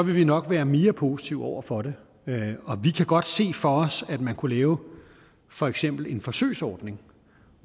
vi nok være mere positive over for det vi kan godt se for os at man kunne lave for eksempel en forsøgsordning